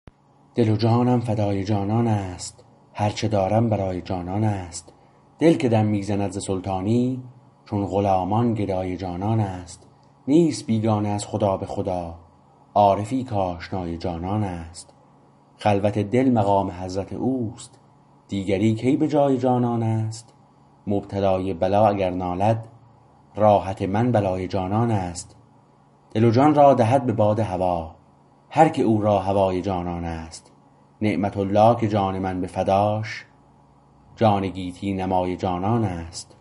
دل و جانم فدای جانان است هرچه دارم برای جانان است دل که دم میزند ز سلطانی چون غلامان گدای جانان است نیست بیگانه از خدا به خدا عارفی کاشنای جانان است خلوت دل مقام حضرت اوست دیگری کی به جای جانان است مبتلای بلا اگر نالد راحت من بلای جانان است دل و جان را دهد به باد هوا هر که او را هوای جانان است نعمةالله که جان من به فداش جان گیتی نمای جانان است